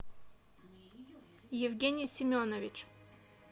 евгений семенович